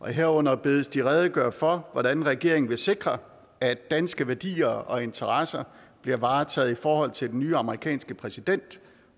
herunder bedes de redegøre for hvordan regeringen vil sikre at danske værdier og interesser bliver varetaget i forhold til den nye amerikanske præsident